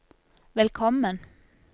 velkommen